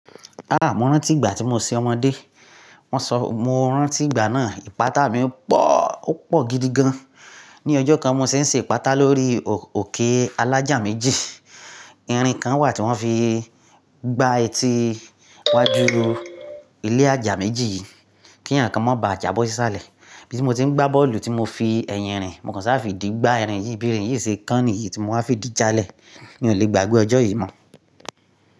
Ah! Mo rántí ìgbà tí mo ṣé ọmọdé, wọn sọ, mo rántí ìgbà náà, ìpáta mi ò pọ̀, ó pọ̀ gidi gan. Ni ọjọ́ kan, mo ṣé ń ṣe ìpáta lórí òkè alájà méjì, irin kan wà tí wọ́n fi gba etí iwájú ilé ajà méjì yìí kí eeyan kan má ba à jábọ́ sí salẹ̀. Ibi tí mo ti ń gbá bọ́ọ̀lù tí mo fi ẹ̀yìn rìn, mo kàn ṣàa fídì gbá irin yìí, bí irin yìí ṣe kán nìyí tí mo wá fìdí jalè. Mi ò lè gbàgbé ọjọ́ yìí mọ́.